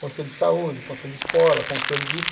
Conselho de saúde, conselho de escola, conselho disso.